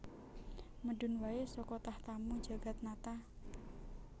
Medun wae saka tahtamu Jagatnata